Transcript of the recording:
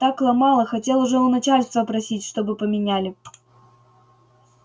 так ломало хотел уже у начальства просить чтобы поменяли